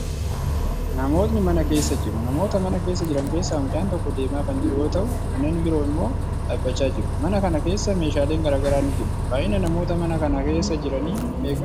Namootni mana keessa jiru. Namoota mana keessa jiran keessaa mucaan tokko deemaa kan jiru yoo ta'u, kanneen biroo immoo dhaabbachaa jiru. Mana kana keessa meeshaaleen garagaraa ni jiru. Baay'inni namoota mana kana keessa jiranii meeqa?